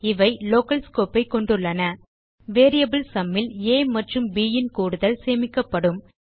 இவை local scope ஐ கொண்டுள்ளன வேரியபிள் சும் ல் ஆ மற்றும் ப் ன் கூடுதல் சேமிக்கப்படும்